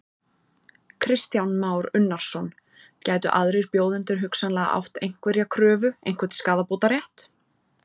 Kristján Már Unnarsson: Gætu aðrir bjóðendur hugsanlega átt einhverja kröfu, einhvern skaðabótarétt?